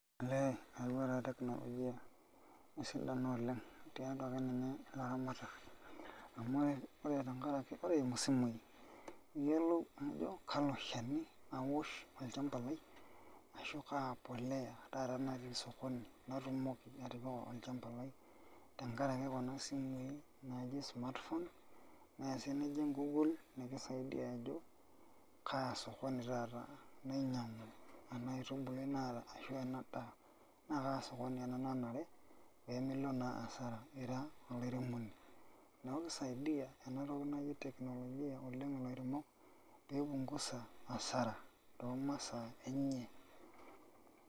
Ellee Eyawa takeyie technologia esidano oleng tiatua akeninye laramatak amu ore tenkaraki niyiolou ajo kalo shani awosh olchamba lai ashu kapolea taata natii osokoni natukoki atipika olchamba lai tenkaraki kuna simui naji smartphone nye si nijing google nikisaidia ajo kaasokoni taata nainyangu ena aitubului ashu enadaa na kaasokoni ena nanare pemilo naa hasara ila olairemoni, neaku kisaidia enatoki naji technologia lairemok peipumguza hasara tomasaa enye.